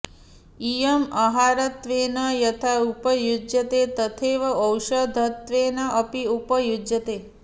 इयम् आहारत्वेन यथा उपयुज्यते तथैव औषधत्वेन अपि उपयुज्यते